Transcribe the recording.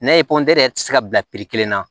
N'a ye yɛrɛ ti se ka bila kelen na